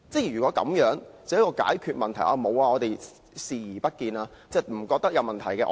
如果這樣就說解決了問題，其實只是視而不見，認為沒有問題。